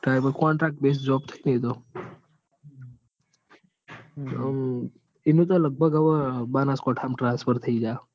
contract base job થઇ એતો. આમ એનું તો લગભગ બનાસકાંઠા માં transfer થઇ જાહ